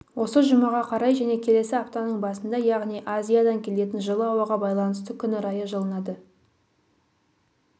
осы жұмаға қарай және келесі аптаның басында яғни азиядан келетін жылы ауаға байланысты күн райы жылынады